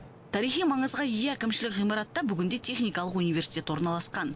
тарихи маңызға ие әкімшілік ғимаратта бүгінде техникалық университет орналасқан